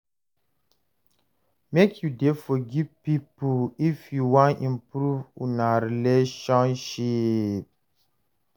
Make you dey forgive pipo if you wan improve una relationship.